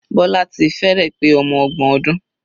Bola ti fẹ́rẹ̀ pé ọmọ ọgbọn ọdún.